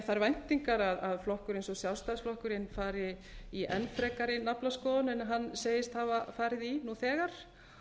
þær væntingar að flokkur eins og sjálfstæðisflokkurinn fari í enn frekari naflaskoðun en hann segist hafa farið í nú þegar